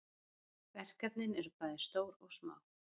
Verkefnin eru bæði stór og smá.